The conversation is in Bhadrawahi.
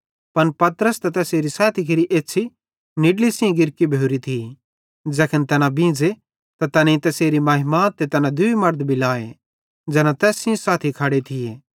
पन पतरस ते तैसेरे सैथी केरि एछ़्छ़ी निड्ली सेइं गिरकी भोरी थी ज़ैखन तैना बींझ़े त तैनेईं तैसेरी महिमा ते तैना दूई मड़द भी लाए ज़ैना तैस सेइं साथी खड़े थिये